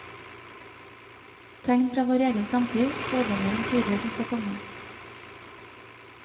Tegn fra vår egen samtid, spådommer om tider som skal komme.